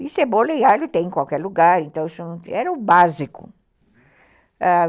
E cebola e alho tem em qualquer lugar, então era o básico.